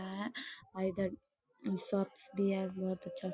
है इधर शॉप्स भी है बोहुत अच्छा --